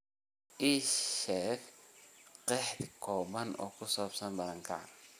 Bal ii sheeg qeexid kooban oo ku saabsan barakaca